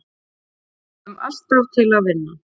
Spilum alltaf til að vinna